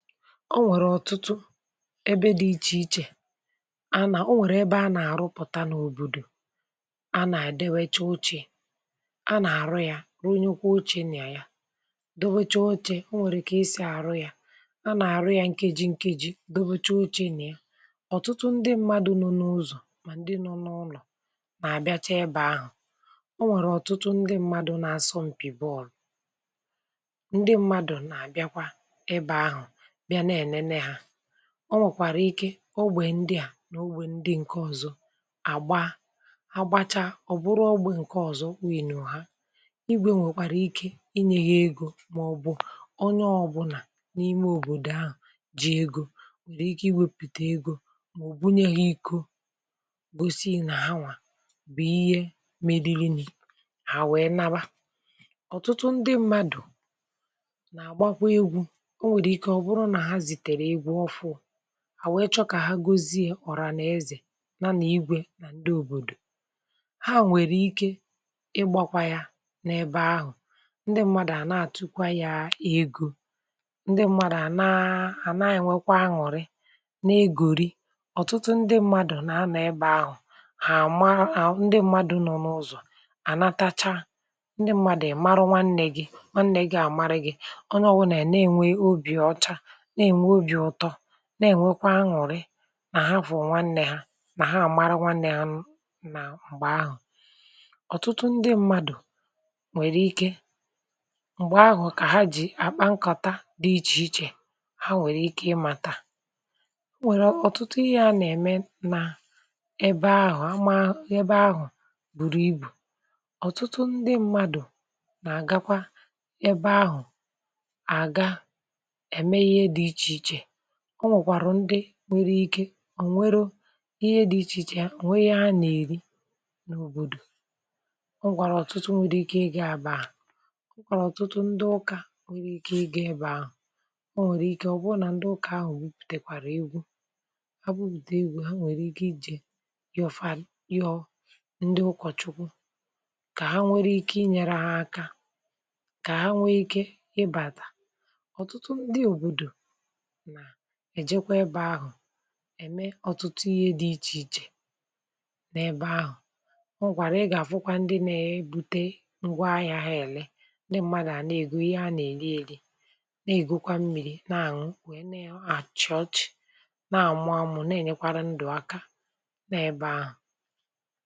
Ọ̀ nwere ọ̀tụ̀tụ̀ ebe dị̀ ichè ichè a nà, o nwèrè ebe a nà-àrụpụ̀ta n’òbòdò, a nà-àdewecha ochė, a nà-àrụ yȧ, rụ̀ nyekwo ochė nà ya, dobecha ochė. O nwèrè kà isì àrụ yȧ. A nà-àrụ yȧ nkeji nkeji dobecha ochė nà ya. Ọ̀tụtụ ndị mmadụ̀ nọ̀ n’ụzọ̀ mà ndị nọ̀ n’ụlọ̀ nà-àbịacha ebe ahụ̀. O nwèrè ọ̀tụtụ ndị mmadụ̀ na asọmpi bọ̀ọlụ̀. Ndị mmadụ̀ na-àbịakwa ebe ahụ̀ bia na-enene ha. O nwèkwàrà ike ogbè ndià n’ogbè ndị ǹkè ọzọ̀ àgba agbacha. Ọ̀ bụrụ ọgbè ǹkè ọzọ̀ win nù ha, igwė nwèkwàrà ike inyė ha egȯ mà ọ bụ̀ onye ọ̀bụ̀là n’ime òbòdò ahụ̀ ji egȯ nwèrè ike iwėpùtè egȯ mà ọ̀ bụnye ha ịkọ̀ gosi na hawà bụ̀ ihe meriri ni hà wèe nawa. Ọ̀tụtụ ndị mmadụ̀ na-àgbakwa egwu. O nwere ike o bụ̀rụ̀ na ha zitere egwu ọ̀fụ̀ụ̀, hà wee chọ̀ kà ha gosiė ọ̀rà na-ezè ya nà-igwė nà ndị òbòdò. Ha nwèrè ike ịgbȧkwȧ ya n’ebe ahụ̀. Ndị ṁmȧdụ̀ àna àtụkwa ya egȯ. Ndị ṁmȧdụ̀ àna àna enwėkwa aṅụ̀rị na-egòri, ọ̀tụtụ ndị ṁmȧdụ̀ nà-anọ̀ ebe ahụ̀. Hà àma à, ndị ṁmȧdụ̀ nọ̀ n’ụzọ̀ ànatacha. Ndị ṁmȧdụ̀ ị̀ marụ nwa nne gị̇ nwa nne gị̇ àmarị gị̇. Onye ọ̀bụ̀la a na-enwe ọ̀bi ọ̀cha, na-enwe ọ̀bi ụtọ̀, na-ènwekwa aṅụ̀rị nà hà fụ̀ụ̀ nwannė ha, nà ha àmara nwannė ha nà m̀gbè ahụ̀. Ọ̀tụtụ ndị mmadụ̀ nwèrè ike, mgbè ahụ̀ kà ha jì àkpa nkata dị ichè ichè ha nwèrè ike ịmȧta. Ọ̀ nwèrè ọ̀tụtụ ihe a nà-ème nà ebe ahụ̀, ama, ebe ahụ̀ bùrù ibù. Ọ̀tụtụ ndị mmadụ̀ nà-àgakwa ebe ahụ̀, a ga, eme inye dị iche iche. Ọ̀ nwèkwàrụ̀ ndị nwere ike ọ̀ nweru ihe dị ichè ichè, ọ̀ nwe inye ha nà-èri n’òbòdò. Ọ̀ nwèkwàrụ ọ̀tụtụ nwere ike ị ga-ebe ahụ̀. Ọ̀ nwèkwàrà ọ̀tụtụ ndị ụkȧ nwere ike ị gà-ebe ahụ̀. Ọ̀ nwèrè ike ọ̀ bụ nà ndị ụkà ahụ̀ bùtèkwàrà egwu. Ha bụpụta egwu. Ha nwèrè ike ijè yọ̀ọ̀ fa, yọ̀ọ̀ ndị ụkọ̀chukwu, kà ha nwere ike inyere ha aka, kà ha nwee ike ịbàtà. Ọ̀tụtụ ndị òbòdò na-èjekwa ebe ahụ̀ ème ọ̀tụtụ ihe dị ichè ichè n’ebe ahụ̀. O nwèkwàrà, ị gà-àfụkwa ndị nȧ-ėbute ngwaahịa ha èle. Ndị mmadụ̀ à nà-ègo ihe ha nà-eri eri, nà-ègo kwȧ mmi̇ri̇ nà-àṅụ, wèe na-àchị̀ ọ̀chị̀ nà-àmụȧmụ̀, na-ènyekwara ndụ̀ aka n’ebe ahụ̀.